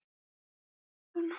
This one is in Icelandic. Gangi þér allt í haginn, Vilhelm.